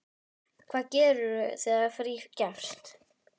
Hvað gerirðu þegar frí gefst?